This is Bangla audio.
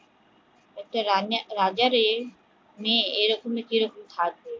একটা রাজার মেয়ে কি করে থাকবে